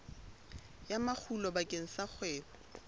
ya makgulo bakeng sa kgwebo